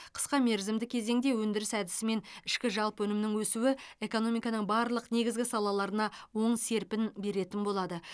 қысқа мерзімді кезеңде өндіріс әдісімен ішкі жалпы өнімнің өсуі экономиканың барлық негізгі салалаларына оң серпін беретін болады